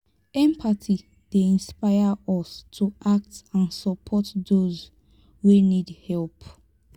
empathy dey inspire us to act and support those wey need help.